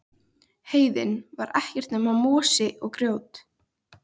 Heiðin var ekkert nema mosi og grjót.